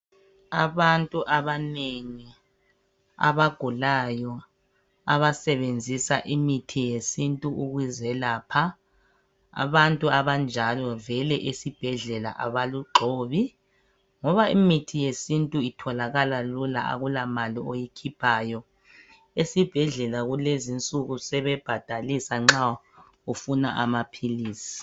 Abantu abanengi abagulayo abasebenzisa imithi yesintu ukuzelapha. Abantu abanjalo vele esibhedlela abalugxobi ngoba imithi yesintu itholakala lula ngoba akulamali oyikhiphayo. Esibhedlela kulezi insuku sebebhadalisa nxa ufuna amaphilizi.